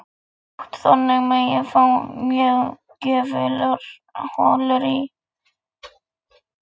Ég er svo aldeilis. Herbergið fylltist af upphrópunarmerkjum.